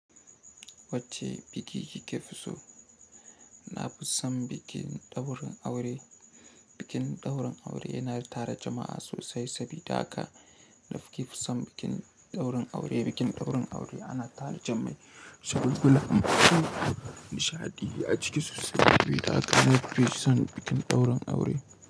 Wacce biki ki ke fi so? Na fusan bikin ɗaurin aure. Bikin ɗaurin aure yana tara jama'a sosai sabida haka na fi kusan bikin ɗaurin aure. Bikin ɗaurin aure ana tare jama'i saboda kuma nishaɗi a ciki sosai sabida haka na fi kusan bikin ɗaurin aure.